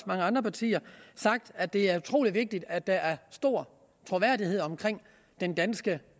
mange andre partier sagt at det er utrolig vigtigt at der er stor troværdighed omkring den danske